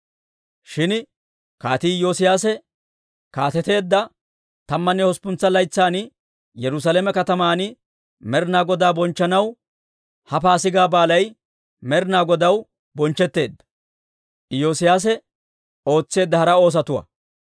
Shin Kaatii Iyoosiyaase kaateteedda tammanne hosppuntsa laytsan Yerusaalame kataman Med'ina Godaa bonchchanaw ha Paasigaa Baalay Med'ina Godaw bonchchetteedda.